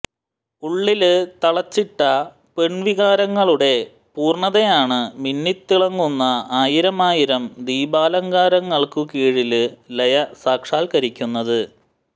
ഉള്ളില് തളച്ചിട്ട പെണ്വികാരങ്ങളുടെ പൂര്ണതയാണ് മിന്നിത്തിളങ്ങുന്ന ആയിരമായിരം ദീപാലങ്കാരങ്ങള്ക്കുകീഴില് ലയ സാക്ഷാത്കരിക്കുന്നത്